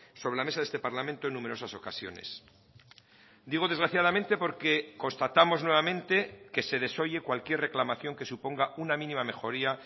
sobre la mesa de este parlamento en numerosas ocasiones digo desgraciadamente porque constatamos nuevamente que se desoye cualquier reclamación que suponga una mínima mejoría